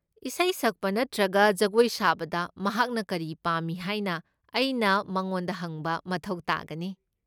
ꯏꯁꯩ ꯁꯛꯄ ꯅꯠꯇ꯭ꯔꯒ ꯖꯒꯣꯏ ꯁꯥꯕꯗ ꯃꯍꯥꯛꯅ ꯀꯔꯤ ꯄꯥꯝꯃꯤ ꯍꯥꯏꯅ ꯑꯩꯅ ꯃꯉꯣꯟꯗ ꯍꯪꯕ ꯃꯊꯧ ꯇꯥꯒꯅꯤ꯫